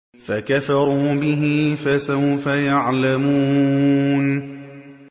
فَكَفَرُوا بِهِ ۖ فَسَوْفَ يَعْلَمُونَ